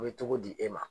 U bɛ togo di e ma